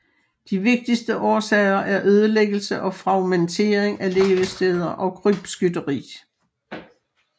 De vigtigste årsager er ødelæggelse og fragmentering af levesteder og krybskytteri